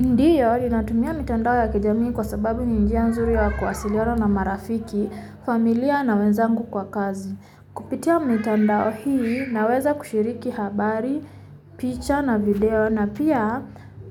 Ndiyo ninatumia mitandao ya kijamii kwa sababu ni njia nzuri ya kuwasiliana na marafiki, familia na wenzangu kwa kazi Kupitia mitandao hii naweza kushiriki habari, picha na video na pia